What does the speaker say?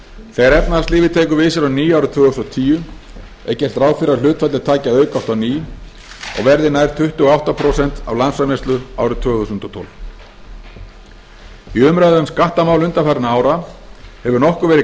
þegar efnahagslífið tekur við sér á ný árið tvö þúsund og tíu er gert ráð fyrir að hlutfallið taki að aukast á ný og verði nær tuttugu og átta prósent af landsframleiðslu árið tvö þúsund og tólf í umræðu um skattamál undanfarinna ára hefur nokkuð verið